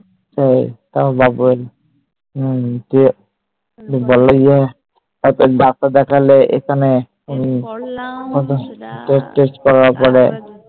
হম তারপর বাবু এলো হম তুমি বললে যে তারপর Doctor দেখলে এখানে Test করার পরে